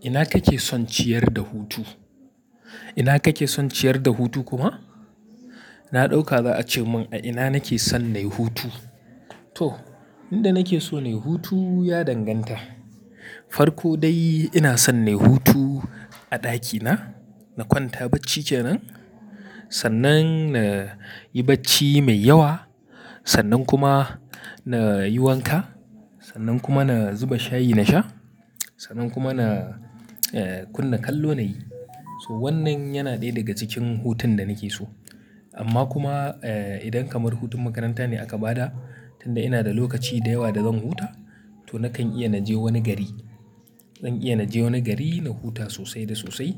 Ina kake son ciyar da hutu? Ina kake son ciyar da hutu kuwa? Na ɗauka za a ce mun a ina nake son nayi hutu. To, inda nake so nayi hutu ya danganta. Farko dai ina son nayi hutu a ɗakina, na kwanta bacci kenan. Sannan na yi bacci mai yawa, sannan kuma na yi wanka, sannan kuma na zuba shayi na sha, sannan kuma na, eh, kunna kallo nayi. So wannan yana ɗaya daga cikin hutun da nake so. Amma kuma, eh, idan kamar hutun makaranta ne aka ba da, tunda ina da lokaci da yawa da zan huta, to nakan iya na je wani gari. Zan iya na je wani gari na huta sosai da sosai.